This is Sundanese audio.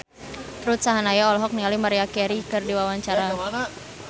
Ruth Sahanaya olohok ningali Maria Carey keur diwawancara